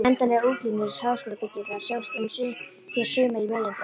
Endanlegar útlínur háskólabyggingarinnar sjást hér sumar í megindráttum.